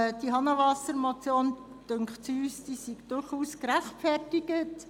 Es dünkt uns, diese HahnenwasserMotion sei durchaus gerechtfertigt.